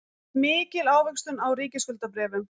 Mikil ávöxtun á ríkisskuldabréfum